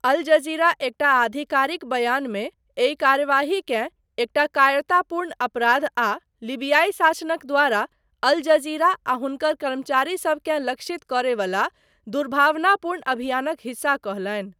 अल Jazeera एकटा आधिकारिक बयानमे, एहि कार्यवाहीकेँ एकटा कायरतापूर्ण अपराध आ लीबियाई शासनक द्वारा अल जज़ीरा आ हुनकर कर्मचारीसबकेँ लक्षित करय वला दुर्भावनापूर्ण अभियानक हिस्सा कहलनि।